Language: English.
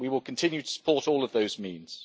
We will continue to support all of those means.